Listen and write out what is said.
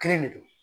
Kelen de don